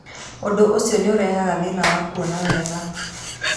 Ũndũ ũcio nĩ ũrehaga thĩna wa kuona wega.